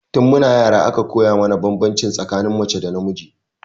Tun mu na yara aka koya mana banbanci tsakanin mace da namiji